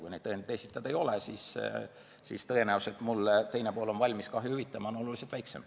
Kui neid esitada ei ole, siis on tõenäosus, et teine pool on valmis mulle kahju hüvitama, oluliselt väiksem.